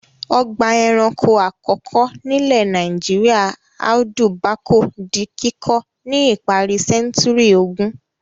Ọgbà-ẹranko àkọ́kọ́ nílẹ̀ Nàìjíríà Audu Bako di kíkọ́ ní ìparí sẹ́ńtúrì ogún.